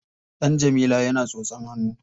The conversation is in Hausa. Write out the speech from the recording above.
Ɗan Jamila yana tsotsan hannu.